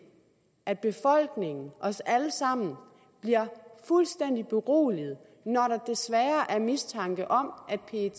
at befolkningen os alle sammen bliver fuldstændig beroliget når der desværre er mistanke om at pet